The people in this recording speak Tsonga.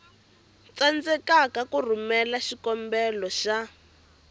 tsandzeka ku rhumela xikombelo xa